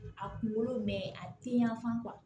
A kunkolo mɛ a ti yan fan